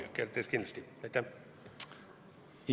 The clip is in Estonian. Ma arvan, et kindlasti jõudis kohale.